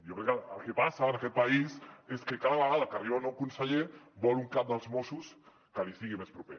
i jo crec que el que passa en aquest país és que cada vegada que arriba un nou conseller vol un cap dels mossos que li sigui més proper